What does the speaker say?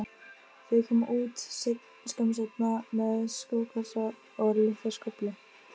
Þau koma út skömmu seinna með skókassa og litla skóflu.